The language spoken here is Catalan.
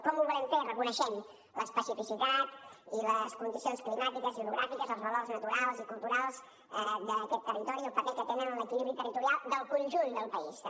com ho volem fer reconeixent l’especificitat i les condicions climàtiques i orogràfiques els valors naturals i culturals d’aquest territori i el paper que tenen en l’equilibri territorial del conjunt del país també